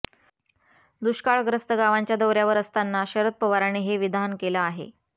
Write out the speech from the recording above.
दुष्काळग्रस्त गावांच्या दौऱ्यावर असताना शरद पवारांनी हे विधान केलं आहे